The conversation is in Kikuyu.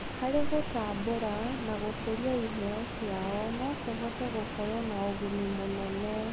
Harĩ gũtambũra na gũkũria iheo ciao no kũhote gũkorwo na ũguni mũnene.